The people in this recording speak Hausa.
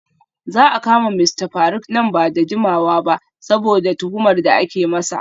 Za a kama Mista Faruk nan ba da jimawa ba saboda tuhumar da ake masa.